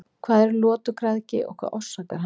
Hvað er lotugræðgi og hvað orsakar hana?